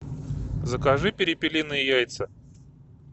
закажи перепелиные яйца